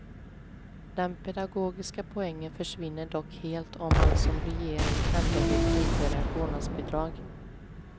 Den pedagogiska poängen försvinner dock helt om man, som regeringen, ändå vill införa ett vårdnadsbidrag.